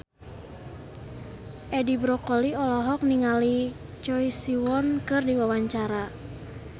Edi Brokoli olohok ningali Choi Siwon keur diwawancara